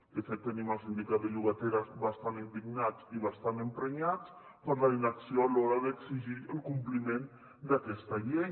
de fet tenim el sindicat de llogaters bastant indignats i bastant emprenyats per la inacció a l’hora d’exigir el compliment d’aquesta llei